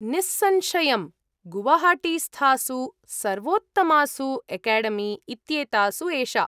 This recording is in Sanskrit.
निःसंशयम्, गुवाहाटीस्थासु सर्वोत्तमासु एकेडेमी इत्येतासु एषा।